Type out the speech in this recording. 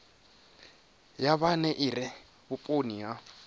ya vhune ire vhuponi ha